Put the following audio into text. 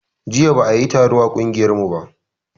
Jiya ba a yi taro a ƙungiyar mu ba